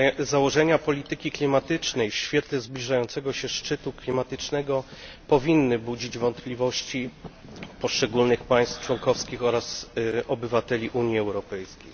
Założenia polityki klimatycznej w świetle zbliżającego się szczytu klimatycznego powinny budzić wątpliwości poszczególnych państw członkowskich oraz obywateli Unii Europejskiej.